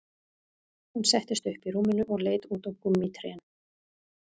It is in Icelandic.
Hún settist upp í rúminu og leit út á gúmmítrén